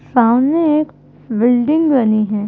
सामने एक बिल्डिंग बनी है।